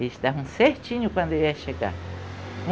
Eles davam certinho quando eu ia chegar.